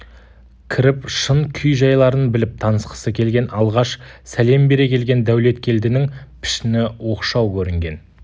кіріп шын күй-жайларын біліп танысқысы келген алғаш сәлем бере келген дәулеткелдінің пішіні оқшау көрінген